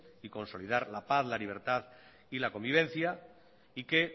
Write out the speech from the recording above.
y consolidar la paz la libertad y la convivencia y que